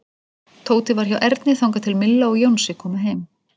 Tóti var hjá Erni þangað til Milla og Jónsi komu heim.